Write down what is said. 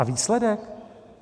A výsledek?